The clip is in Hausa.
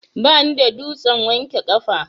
Bani da dutsen wanke kafa.